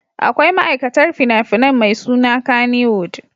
Akwai ma'aikatar fina-finan mai suna Kannywood.